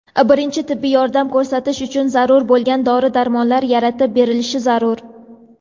birinchi tibbiy yordam ko‘rsatish uchun zarur bo‘lgan dori-darmonlar) yaratib berilishi zarur.